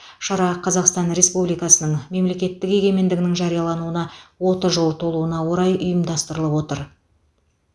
шара қазақстан республикасының мемлекеттік егемендігінің жариялануына отыз жыл толуына орай ұйымдастырылып отыр